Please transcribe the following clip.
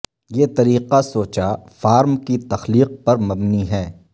یہ طریقہ سوچا فارم کی تخلیق پر مبنی ہے